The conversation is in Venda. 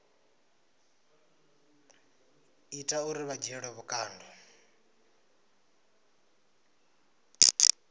ita uri vha dzhielwe vhukando